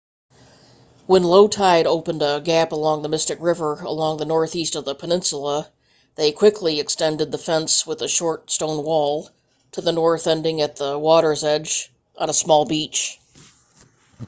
when low tide opened a gap along the mystic river along the northeast of the peninsula they quickly extended the fence with a short stone wall to the north ending at the water's edge on a small beach